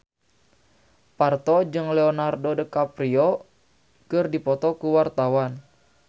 Parto jeung Leonardo DiCaprio keur dipoto ku wartawan